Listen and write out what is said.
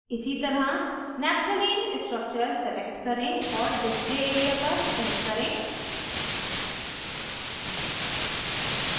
इसी तरह naphthalene structure select करें और display area पर click करें